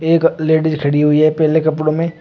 एक लेडिस खड़ी हुई है पीले कपड़ों में।